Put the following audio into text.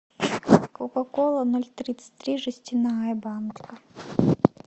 кока кола ноль тридцать три жестяная банка